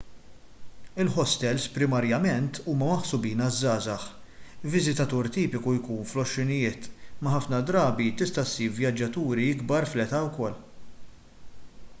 il-ħostels primarjament huma maħsubin għaż-żgħażagħ viżitatur tipiku jkun fl-għoxrinijiet imma ħafna drabi tista' ssib vjaġġaturi ikbar fl-età ukoll